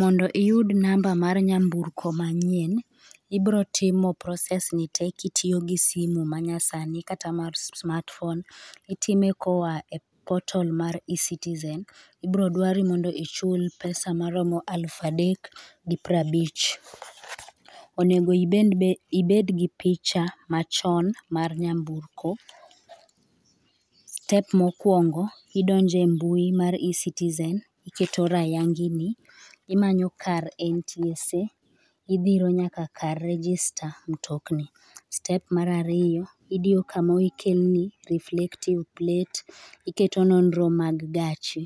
Mondo iyud namba mar nyamburko manyien, ibiro timo process ni tee kitiyo gi simu manyasani kata mar smart phone itime koa e [çs]portol mar eCitizen. Ibiro dwari m,ondo ichul pesa moromo elufu adek gi piero abich. Onego be ibed gi picha machon mar nyamburko. Step mokuongo idonjo e mbui mar eCitizen iketo rayang nyingi, irango kar NTSA idhiro nyaka kar register mutokni. Step mar ariyo, idiyo kama okelni reflective plate, iketo nonro mag gachi.